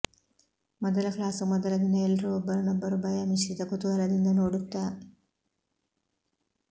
ಮೊದಲ ಕ್ಲಾಸು ಮೊದಲ ದಿನ ಎಲ್ರೂ ಒಬ್ಬರನ್ನೊಬ್ಬರು ಭಯ ಮಿಶ್ರಿತ ಕುತೂಹಲದಿಂದ ನೋಡುತ್ತಾ